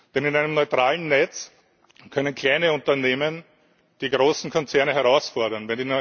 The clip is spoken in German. Denn in einem neutralen Netz können kleine Unternehmen die großen Konzerne herausfordern.